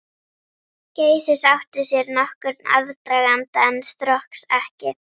Geysis áttu sér nokkurn aðdraganda, en Strokks ekki.